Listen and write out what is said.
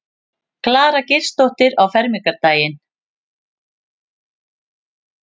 Klara Geirsdóttir á fermingardaginn.